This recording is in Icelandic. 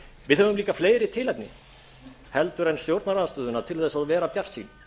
við höfum líka fleiri tilefni en stjórnarandstöðuna til þess að vera bjartsýn